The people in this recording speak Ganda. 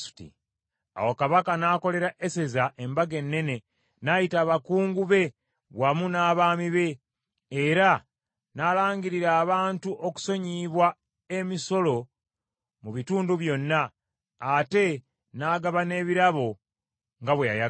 Awo Kabaka n’akolera Eseza embaga ennene, n’ayita abakungu be wamu n’abaami be, era n’alangirira abantu okusonyiyibwa emisolo mu bitundu byonna, ate n’agaba n’ebirabo nga bwe yayagala.